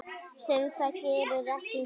Sem það gerir ekki.